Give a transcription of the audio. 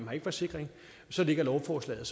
har en forsikring lægger lovforslaget